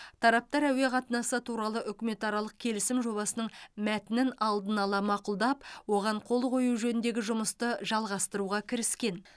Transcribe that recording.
тараптар әуе қатынасы туралы үкіметаралық келісім жобасының мәтінін алдын ала мақұлдап оған қол қою жөніндегі жұмысты жалғастыруға кіріскен